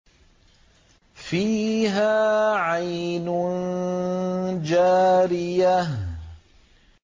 فِيهَا عَيْنٌ جَارِيَةٌ